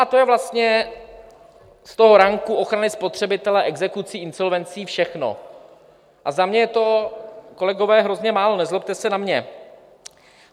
A to je vlastně z toho ranku ochrany spotřebitele, exekucí, insolvencí všechno a za mě je to, kolegové, hrozně málo, nezlobte se na mě.